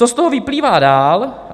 Co z toho vyplývá dál?